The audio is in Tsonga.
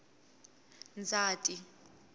ndzhati